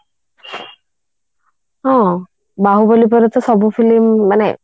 ହଁ ବହୁବଳି ପରେ ତ ସବୁ film ମାନେ